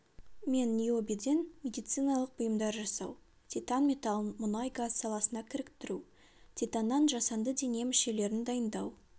мен ниобийден медициналық бұйымдар жасау титан металын мұнай-газ саласына кіріктіру титаннан жасанды дене мүшелерін дайындау